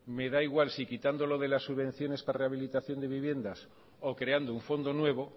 me da igual si quitando lo de la subvenciones para rehabilitación de viviendas o creando un fondo nuevo